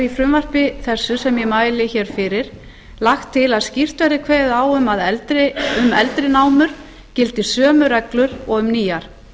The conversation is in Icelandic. frumvarpi þessu sem ég mæli fyrir lagt til að skýrt verði kveðið á um að um eldri námur gildi sömu reglur og um nýjar